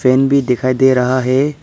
Fan भी दिखाई दे रहा है।